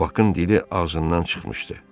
Bakın dili ağzından çıxmışdı.